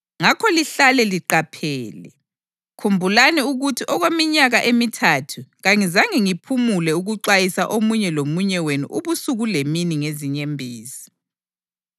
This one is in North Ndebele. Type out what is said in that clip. Ngakho lihlale liqaphele! Khumbulani ukuthi okweminyaka emithathu kangizange ngiphumule ukuxwayisa omunye lomunye wenu ubusuku lemini ngezinyembezi.